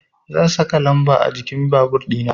Zan saka lamba a jikin babur dina